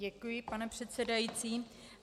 Děkuji, pane předsedající.